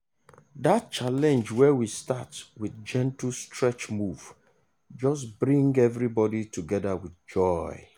that challenge wey we start with gentle stretch move just bring everybody together with joy.